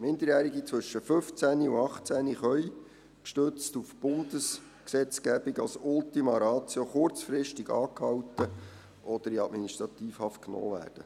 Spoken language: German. Minderjährige zwischen 15 und 18 können gestützt auf die Bundesgesetzgebung als Ultima Ratio kurzfristig angehalten oder in Administrativhaft genommen werden.